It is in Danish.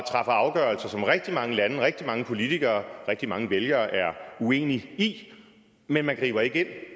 afgørelser som rigtig mange lande rigtig mange politikere og rigtig mange vælgere er uenige i men man griber ikke